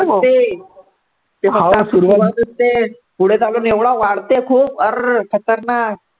ते हाव सुरुवात ते पुढे तर अजून एवढा वाढते खूप अरर खतरनाक